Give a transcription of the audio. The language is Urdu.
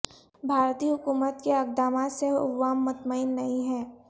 بھارتی حکومت کے اقدامات سے عوام مطمئن نہیں ہیں